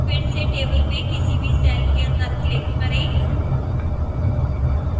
फिर से table में किसी भी cell के अंदर click करें